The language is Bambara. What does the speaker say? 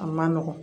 A man nɔgɔn